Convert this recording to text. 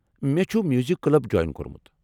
مےٚ چھُ music club join کوٚرمُت۔